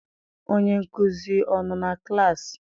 Onye nkuzi ọ nọ na klaasị?